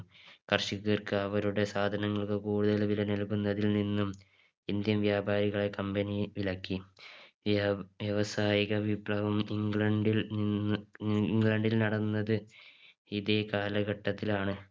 കർഷകർക്ക് അവരുടെ സാധനങ്ങൾക്ക് കൂടുതൽ വില നൽകുന്നതിൽ നിന്നും Indian വ്യാപാരികളെ Company വിലക്കി വ്യവ വ്യവസായിക വിപ്ലവം ഇംഗ്ലണ്ടിൽ നിന്ന് ഇംഗ്ലണ്ടിൽ നടന്നത് ഇതേ കാലഘട്ടത്തിലാണ്